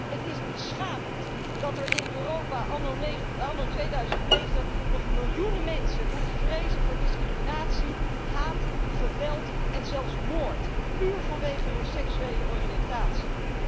Het is beschamend dat er in Europa anno 2009 nog miljoenen mensen moeten vrezen voor discriminatie, haat, geweld en zelfs moord, puur vanwege hun seksuele oriëntatie.